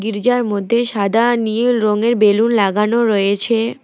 গির্জার মধ্যে সাদা নীল রংয়ের বেলুন লাগানো রয়েছে।